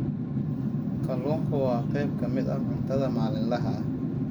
Kalluunku waa qayb ka mid ah cuntada maalinlaha ah.